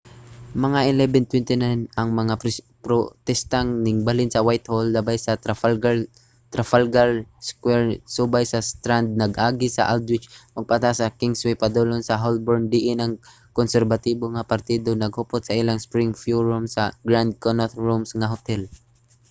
mga 11:29 ang protesta ningbalhin sa whitehall labay sa trafalgar square subay sa strand nag-agi sa aldwych ug pataas sa kingsway padulong sa holborn diin ang konserbatibo nga partido naghupot sa ilang spring forum sa grand connaught rooms nga hotel